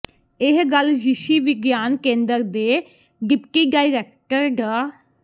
ਇਹ ਗੱਲ ਿਯਸ਼ੀ ਵਿਗਿਆਨ ਕੇਂਦਰ ਦੇ ਡਿਪਟੀ ਡਾਇਰੈਕਟਰ ਡਾ